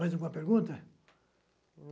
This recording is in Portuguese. Mais alguma pergunta?